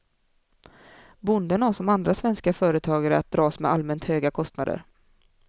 Bonden har som andra svenska företagare att dras med allmänt höga kostnader.